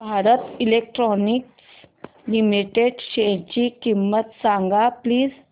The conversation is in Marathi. भारत इलेक्ट्रॉनिक्स लिमिटेड शेअरची किंमत सांगा प्लीज